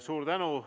Suur tänu!